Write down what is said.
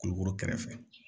Kulukoro kɛrɛfɛ